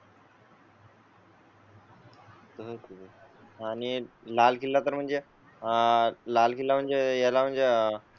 तर ठीक आहे आणि लाल किल्ला म्हणजे आह लाल किल्ला म्हणजे याला म्हणजे.